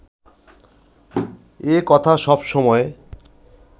এ কথা সবসময়